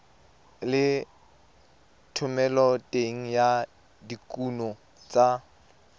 le thomeloteng ya dikuno tsa